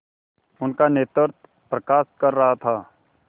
उनका नेतृत्व प्रकाश कर रहा था